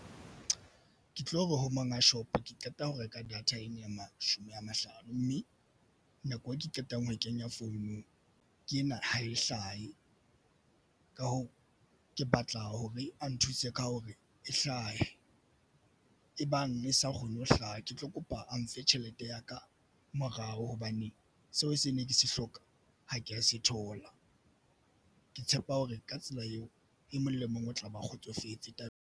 Ke tlo re ho monga shop ke qeta ho reka data ena ya mashome a mahlano mme nako eo ke qetang ho e kenya founung ke ena ha e hlahe. Ka hoo, ke batla ho be a nthuse ka hore e hlahe e bang e sa kgone ho hlaha. Ke tlo kopa a ntshe tjhelete ya ka morao hobane seo se ne ke se hloka ho kea se thola. Ke tshepa hore ka tsela eo e mong le mong o tla ba kgotsofetse tabeng.